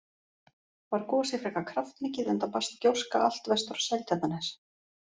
Var gosið frekar kraftmikið enda barst gjóska allt vestur á Seltjarnarnes.